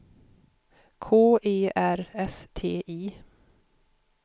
K E R S T I